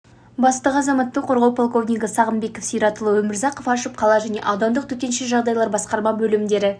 бастығы азаматтық қорғау полковнигі сағынбек сиратұлы өмірзақов ашып қала және аудандық төтенше жағдайлар басқарма бөлімдері